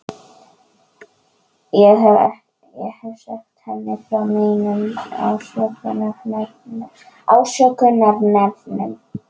Ég hef sagt henni frá mínum ásökunarefnum.